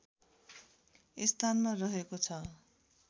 स्थानमा रहेको छ